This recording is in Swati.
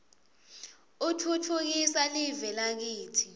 utfutfukisa live lakitsi